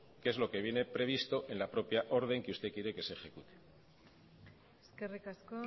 que es lo que viene previsto en la propia orden que usted quiere que se ejecute eskerrik asko